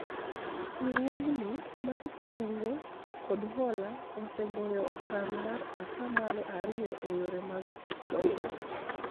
riwruogni mar kungo kod hola osegoyo okang' mar atamalo ariyo eyore mag dongruok